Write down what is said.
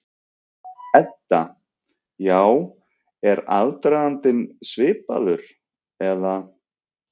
Edda: Já, er aðdragandinn svipaður eða?